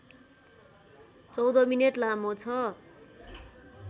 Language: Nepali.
१४ मिनेट लामो छ